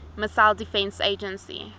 missile defense agency